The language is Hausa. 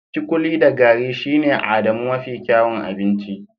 kikuli da gari shine Adamu mafi kyawun abinci